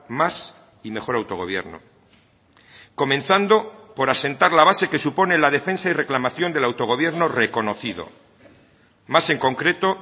más y mejor autogobierno comenzando por asentar la base que supone la defensa y reclamación del autogobierno reconocido más en concreto